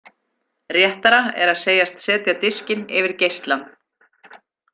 Réttara er að segjast setja diskinn yfir geislann.